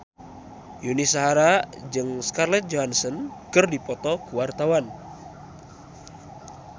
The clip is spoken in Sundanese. Yuni Shara jeung Scarlett Johansson keur dipoto ku wartawan